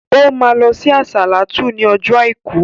O ma lọ sí àsàlátú ní ọjọ́ àìkú